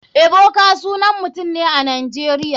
Ebuka sanan mutum ne a nigeria.